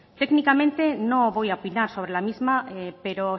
técnicamente no voy a opinar sobre la misma pero